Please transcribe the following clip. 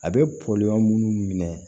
A bɛ pɔmu minnu minɛ